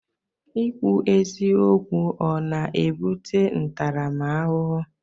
Ikwu eziokwu ọ na-ebute ntaramahụhụ?